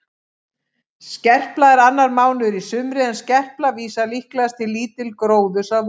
Skerpla er annar mánuður í sumri en skerpla vísar líklegast til lítils gróðurs að vori.